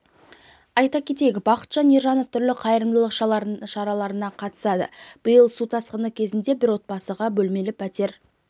айта кетейік бақытжан ержанов түрлі қайырымдылық шараларына қатысады биыл су тасқыны кезінде бір отбасыға бөлмелі пәтер